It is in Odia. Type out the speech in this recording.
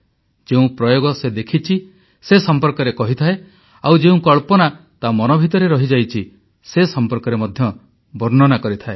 ଯେଉଁ ପ୍ରୟୋଗ ସେ ଦେଖିଛି ସେ ସମ୍ପର୍କରେ କହିଥାଏ ଆଉ ଯେଉଁ କଳ୍ପନା ତା ମନ ଭିତରେ ରହିଯାଇଛି ସେ ସମ୍ପର୍କରେ ମଧ୍ୟ ବର୍ଣ୍ଣନା କରିଥାଏ